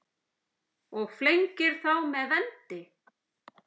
og flengir þá með vendi